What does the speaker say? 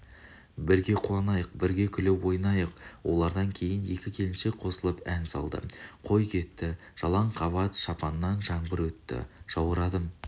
бірге қуанайық бірге күліп ойнайық олардан кейін екі келіншек қосылып ән салды қой кетті жалаң қабат шапанқан жаңбыр өтті жаурадым